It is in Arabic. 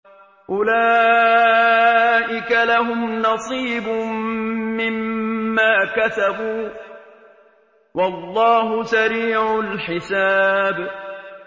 أُولَٰئِكَ لَهُمْ نَصِيبٌ مِّمَّا كَسَبُوا ۚ وَاللَّهُ سَرِيعُ الْحِسَابِ